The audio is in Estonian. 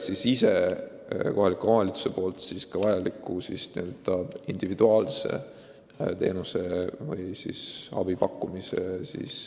Kohalikud omavalitsused saavad sel moel vajalikku individuaalset abi pakkuda.